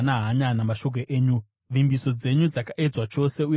Vimbiso dzenyu dzakaedzwa chose, uye muranda wenyu anodzida.